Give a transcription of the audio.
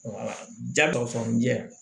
jagosɔn jɛ